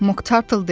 Moktartl dedi: